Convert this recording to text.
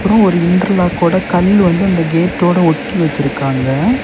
ஒரு இன்டெர்லாக் ஓட கல் வந்து இந்த கேட்டோட ஒட்டி வச்சிருக்காங்க.